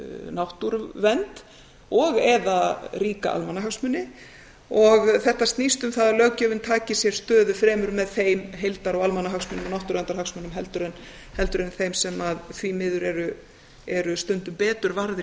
náttúruvernd og eða ríka almannahagsmuni og þetta snýst um það að löggjöfin taki sér stöðu fremur með þeim heildar og almannahagsmunum náttúruverndarhagsmunum en þeim sem því miður eru stundum betur varðir í